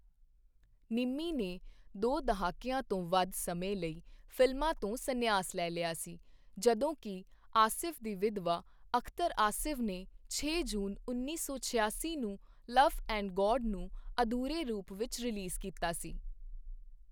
ਨਿੰਮੀ ਨੇ ਦੋ ਦਹਾਕਿਆਂ ਤੋਂ ਵੱਧ ਸਮੇਂ ਲਈ ਫਿਲਮਾਂ ਤੋਂ ਸੰਨਿਆਸ ਲੈ ਲਿਆ ਸੀ ਜਦੋਂ ਕੇ. ਆਸਿਫ਼ ਦੀ ਵਿਧਵਾ ਅਖ਼ਤਰ ਆਸਿਫ਼ ਨੇ ਛੇ ਜੂਨ ਉੱਨੀ ਸੌ ਛਿਆਸੀ ਨੂੰ ਲਵ ਐਂਡ ਗੌਡ ਨੂੰ ਅਧੂਰੇ ਰੂਪ ਵਿੱਚ ਰਿਲੀਜ਼ ਕੀਤਾ ਸੀ।